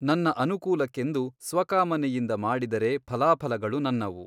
ನನ್ನ ಅನುಕೂಲಕ್ಕೆಂದು ಸ್ವಕಾಮನೆಯಿಂದ ಮಾಡಿದರೆ ಫಲಾಫಲಗಳು ನನ್ನವು.